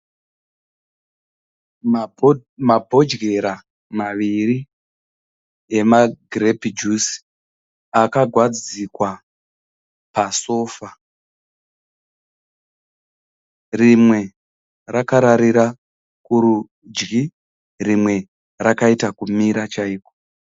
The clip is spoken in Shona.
Mabhodyera maviri ema girepi jusi akagadzikwa pasofa. Rimwe rakararira kurudyi rimwe rakaita kumira chaiko.